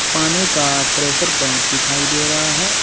पानी का pressure pipe दिखाई दे रहा है।